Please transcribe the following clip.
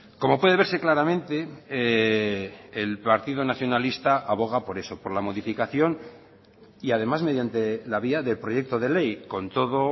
como puede verse claramente el partido nacionalista aboga por eso por la modificación y además mediante la vía de proyecto de ley con todo